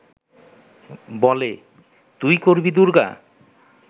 বলে, 'তুই করবি দুর্গা'